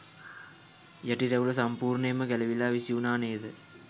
යටි රැවුල සම්පුර්ණයෙන්ම ගැලවිලා විසිවුණා නේද.